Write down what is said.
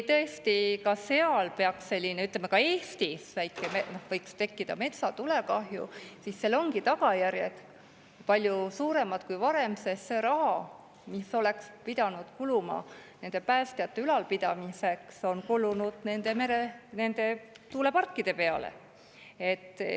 Tõesti, kui ka Eestis peaks tekkima metsatulekahju, siis seal ongi tagajärjed palju hullemad kui varem, sest see raha, mis oleks pidanud kuluma nende päästjate ülalpidamiseks, on kulunud tuuleparkide peale.